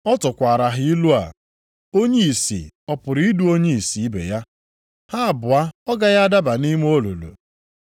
Ọ tụkwaara ha ilu a, “Onye ìsì ọ pụrụ idu onye ìsì ibe ya? Ha abụọ ọ gaghị adaba nʼime olulu?